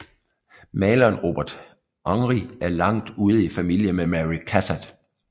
Maleren Robert Henri var langt ude i familie med Mary Cassatt